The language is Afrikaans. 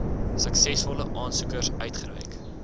suksesvolle aansoekers uitgereik